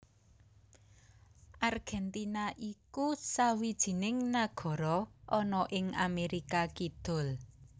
Argèntina iku sawijining nagara ana ing Amérika Kidul